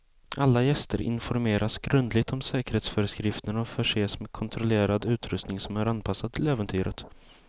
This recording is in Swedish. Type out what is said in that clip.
Alla gäster informeras grundligt om säkerhetsföreskrifterna och förses med kontrollerad utrustning som är anpassad till äventyret.